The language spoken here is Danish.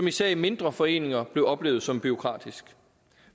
især i mindre foreninger blev oplevet som bureaukratisk